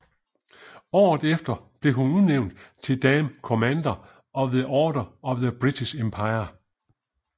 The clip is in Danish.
Året efter blev hun udnævnt til Dame Commander of the Order of the British Empire